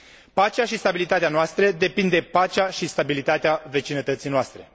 Pacea și stabilitatea noastră depind de pacea și stabilitatea vecinătății noastre.